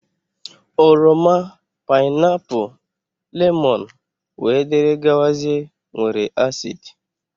Oroma, painapu, lemon wdg nwere acid.